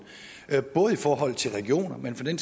både i forhold til regioner men for den